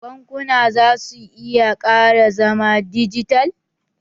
Bankuna za su iya ƙara zama dijital